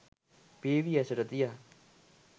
පියවි ඇසට තියා